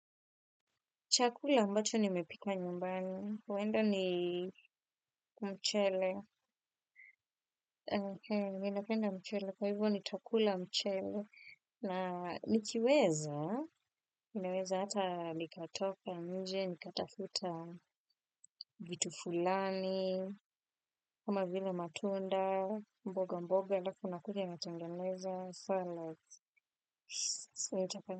Chakula ambacho nimepika nyumbani. Huenda ni mchele. Minapenda mchele. Kwa hivyo nitakula mchele. Na nikiweza. Inaweza hata nikatoka nje. Nikatafuta vitu fulani. Kama vile matunda. Mboga mboga. Halafu nakuja matengeneza. Salad.